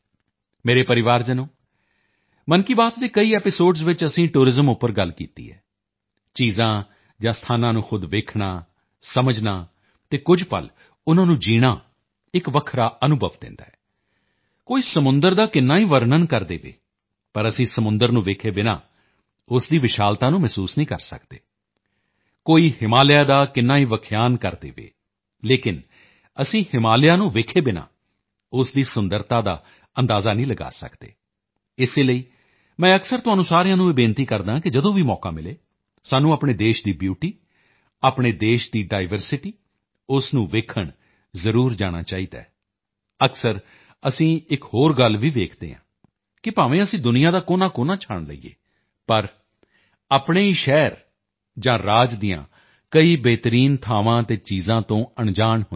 ਮੇਰੇ ਪਰਿਵਾਰਜਨੋ ਮਨ ਕੀ ਬਾਤ ਦੇ ਕਈ ਐਪੀਸੋਡਸ ਵਿੱਚ ਅਸੀਂ ਟੂਰਿਜ਼ਮ ਉੱਪਰ ਗੱਲ ਕੀਤੀ ਹੈ ਚੀਜ਼ਾਂ ਜਾਂ ਸਥਾਨਾਂ ਨੂੰ ਖ਼ੁਦ ਦੇਖਣਾ ਸਮਝਣਾ ਅਤੇ ਕੁਝ ਪਲ ਉਨ੍ਹਾਂ ਨੂੰ ਜੀਣਾ ਇੱਕ ਵੱਖਰਾ ਅਨੁਭਵ ਦਿੰਦਾ ਹੈ ਕੋਈ ਸਮੁੰਦਰ ਦਾ ਕਿੰਨਾ ਹੀ ਵਰਨਣ ਕਰ ਦੇਵੇ ਪਰ ਅਸੀਂ ਸਮੁੰਦਰ ਨੂੰ ਦੇਖੇ ਬਿਨਾ ਉਸ ਦੀ ਵਿਸ਼ਾਲਤਾ ਨੂੰ ਮਹਿਸੂਸ ਨਹੀਂ ਕਰ ਸਕਦੇ ਕੋਈ ਹਿਮਾਲਿਆ ਦਾ ਕਿੰਨਾ ਹੀ ਵਿਖਿਆਨ ਕਰ ਕਰ ਦੇਵੇ ਲੇਕਿਨ ਅਸੀਂ ਹਿਮਾਲਿਆ ਨੂੰ ਦੇਖੇ ਬਿਨਾ ਉਸ ਦੀ ਸੁੰਦਰਤਾ ਦਾ ਅੰਦਾਜ਼ਾ ਨਹੀਂ ਲਗਾ ਸਕਦੇ ਇਸੇ ਲਈ ਮੈਂ ਅਕਸਰ ਤੁਹਾਨੂੰ ਸਾਰਿਆਂ ਨੂੰ ਇਹ ਬੇਨਤੀ ਕਰਦਾ ਹਾਂ ਕਿ ਜਦੋਂ ਵੀ ਮੌਕਾ ਮਿਲੇ ਸਾਨੂੰ ਆਪਣੇ ਦੇਸ਼ ਦੀ ਬਿਊਟੀ ਆਪਣੇ ਦੇਸ਼ ਦੀ ਡਾਇਵਰਸਿਟੀ ਉਸ ਨੂੰ ਦੇਖਣ ਜ਼ਰੂਰ ਜਾਣਾ ਚਾਹੀਦਾ ਹੈ ਅਕਸਰ ਅਸੀਂ ਇੱਕ ਹੋਰ ਗੱਲ ਵੀ ਵੇਖਦੇ ਹਾਂ ਕਿ ਭਾਵੇਂ ਅਸੀਂ ਦੁਨੀਆ ਦਾ ਕੋਨਾਕੋਨਾ ਛਾਣ ਲਈਏ ਪਰ ਆਪਣੇ ਹੀ ਸ਼ਹਿਰ ਜਾਂ ਰਾਜ ਦੀਆਂ ਕਈ ਬਿਹਤਰੀਨ ਥਾਵਾਂ ਅਤੇ ਚੀਜ਼ਾਂ ਤੋਂ ਅਣਜਾਣ ਹੁੰਦੇ ਹਾਂ